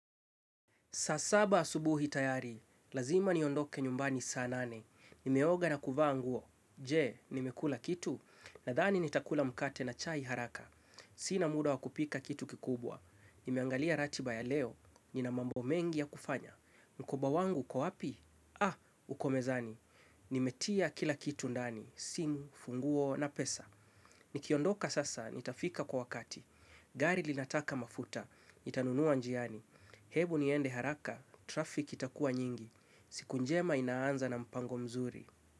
Saa saba asubuhi tayari, lazima niondoke nyumbani saa nane, nimeoga na kuvaa nguo, je, nimekula kitu? Nadhani nitakula mkate na chai haraka, sina muda wakupika kitu kikubwa, nimeangalia ratiba ya leo, nina mambo mengi ya kufanya, mkoba wangu uko wapi? Ah, uko mezani, nimetia kila kitu ndani, simu, funguo na pesa, nikiondoka sasa, nitafika kwa wakati, gari linataka mafuta, nitanunua njiani, hebu niende haraka, traffic itakua nyingi. Siku njema inaanza na mpango mzuri.